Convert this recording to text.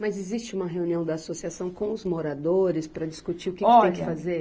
Mas existe uma reunião da associação com os moradores para discutir o que tem que fazer? Olha